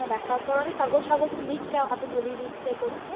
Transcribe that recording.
দেখার পর অনেক কাগজ সাগজতো দিচ্ছে হাতে ধরিয়ে দিচ্ছে করছে